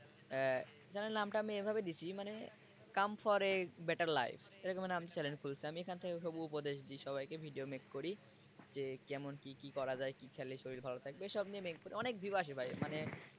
channe এর নামটা আমি এভাবে দিছি মানে come for a better life এরকম নামে channel খুলছি আমি এখান থেকে সব উপদেশ দি সবাইকে video make করি যে কেমন কি কি করা যায় কি খেলে শরীর ভালো থাকবে এসব নিয়ে make করি অনেক view আসে ভাই মানে,